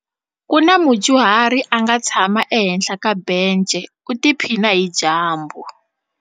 Ku na mudyuhari a nga tshama ehenhla ka bence u tiphina hi dyambu.